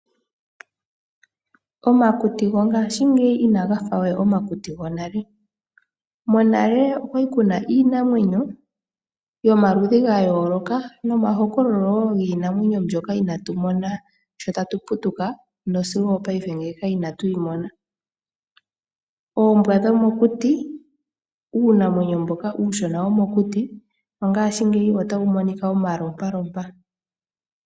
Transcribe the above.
Omakuti gongashingeyi ina gafawe omakuti gonale. Monale okwali kuna iinamwenyo yomaludhi ga yooloka. Nomahokololo wo giinamwenyo mboka inatu mona nale, oombwa dhomokuti uunamwenyo mboka uushona womokuti mongashingeyi otawu monika omalupita.